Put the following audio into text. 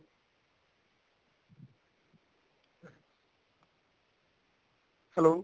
hello